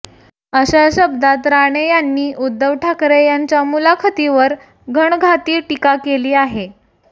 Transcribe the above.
अशा शब्दात राणे यांनी उद्धव ठाकरे यांच्या मुलाखतीवर घणाघाती टीका केली आहे